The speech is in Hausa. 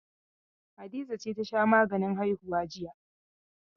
Hadiza ce ta sha maganin haihuwa jiya.